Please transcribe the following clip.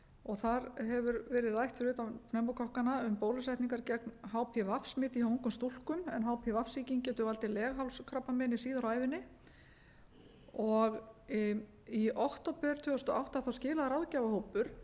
og þar hefur verið rætt fyrir utan pneumókokkana um bólusetningar gegn hpv smiti hjá ungum stúlkum en hpv sýking getur valdið leghálskrabbameini síðar á ævinni í október tvö þúsund og átta skilaði ráðgjafahópur